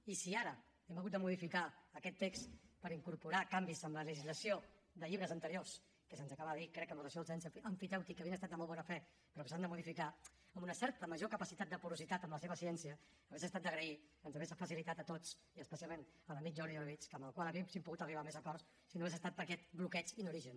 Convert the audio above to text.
i si ara hem hagut de modificar aquest text per incorporar canvis en la legislació de llibres anteriors que se’ns acaba de dir crec que amb relació al cens emfitèutic havien estat de molt bona fe però que s’han de modificar amb una certa major capacitat de porositat en la seva ciència hauria estat d’agrair ens hauria facilitat a tots i especialment a l’amic jordi orobitg amb el qual hauríem pogut arribar a més acords si no hagués estat per aquest bloqueig en origen